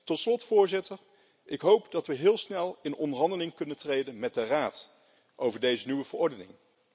Tot slot hoop ik dat we heel snel in onderhandeling kunnen treden met de Raad over deze nieuwe verordening.